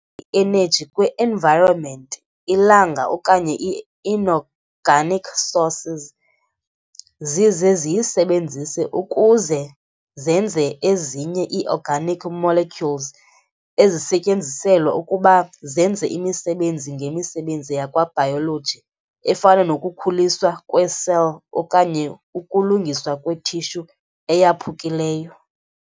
i-energy kwi-environment, Ilanga okanye i-inorganic sources, zize ziyisebenzise ukuze zenze ezinye ii-organic molecules ezisetyenziselwa ukuba zenze imisebenzi ngemisebenzi yakwa-biology efana nokukhuliswa kwe-cell okanye ukulungiswa kwe-tissue eyaphukileyo.